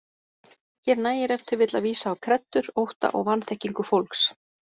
Hér nægir ef til vill að vísa á kreddur, ótta og vanþekkingu fólks.